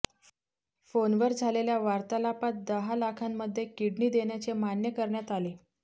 फोनवर झालेल्या वार्तालापात दहा लाखांमध्ये किडनी देण्याचे मान्य करण्यात आले